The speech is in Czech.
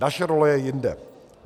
Naše role je jinde.